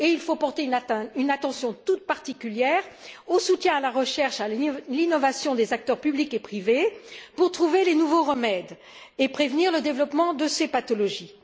Il faut porter une attention toute particulière au soutien au travail de recherche et d'innovation des acteurs publics et privés pour trouver les nouveaux remèdes et prévenir le développement de ces pathologies.